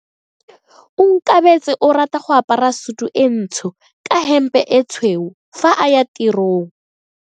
Onkabetse o rata go apara sutu e ntsho ka hempe e tshweu fa a ya tirong.